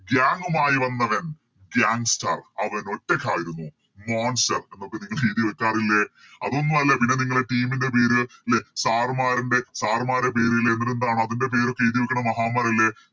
Gang മായി വന്നവൻ Gangster അവൻ ഒറ്റക്കായിരുന്നു Monster എന്നൊക്കെ നിങ്ങള് എഴുതി വെക്കാറില്ലേ അതൊന്നു അല്ല പിന്നെ നിങ്ങള് Team ൻറെ പേര് ലെ Sir മാരിൻറെ Sir മാരെ പേര്ല് അതിൻറെ പേരൊക്കെ എഴുതിവെക്കുന്ന മഹാന്മരില്ലെ